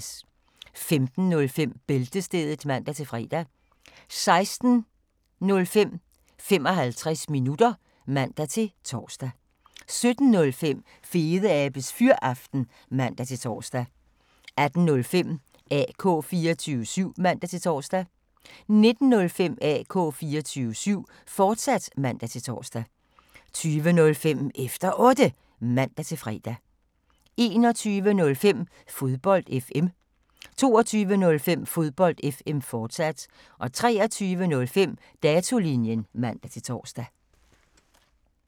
15:05: Bæltestedet (man-fre) 16:05: 55 minutter (man-tor) 17:05: Fedeabes Fyraften (man-tor) 18:05: AK 24syv (man-tor) 19:05: AK 24syv, fortsat (man-tor) 20:05: Efter Otte (man-fre) 21:05: Fodbold FM 22:05: Fodbold FM, fortsat 23:05: Datolinjen (man-tor)